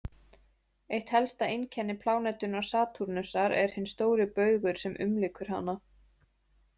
Eitt helsta einkenni plánetunnar Satúrnusar er hinn stóri baugur sem umlykur hana.